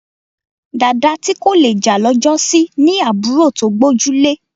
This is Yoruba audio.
Dàda tí kò le jà lọ́jọ́sí ní àbúrò tó gbójúlé